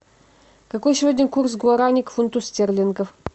какой сегодня курс гуарани к фунту стерлингов